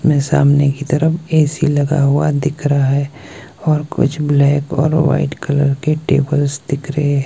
मेरे सामने की तरफ ए_सी लगा हुआ दिख रहा है और कुछ ब्लैक और वाइट कलर के टेबल्स दिख रहे।